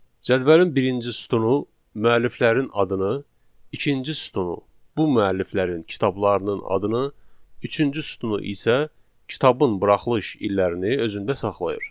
Cədvəlin birinci sütunu müəlliflərin adını, ikinci sütunu bu müəlliflərin kitablarının adını, üçüncü sütunu isə kitabın buraxılış illərini özündə saxlayır.